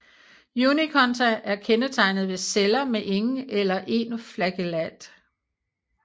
Unikonta er kendetegnet ved celler med ingen eller en flagellat